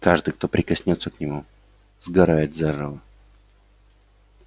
каждый кто прикоснётся к нему сгорает заживо